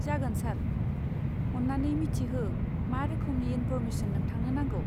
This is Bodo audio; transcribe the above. जागोन सार, अन्नानै मिथिहो मा रोखोमनि इन्फ'र्मेसन नोंथांनो नांगौ?